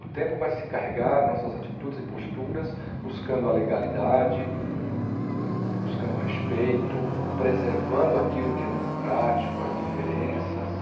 O tempo vai se encarregar, nossas atitudes e posturas, buscando a legalidade, buscando o respeito, preservando aquilo que é democrático, as diferenças.